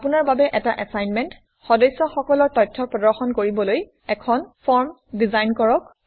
আপোনাৰ বাবে এটা এচাইনমেণ্টসদস্যসকলৰ তথ্য প্ৰদৰ্শন কৰাবলৈ এখন ফৰ্ম ডিজাইন কৰক